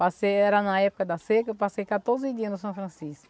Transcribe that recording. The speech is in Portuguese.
Passei, era na época da seca, eu passei quatorze dias no São Francisco.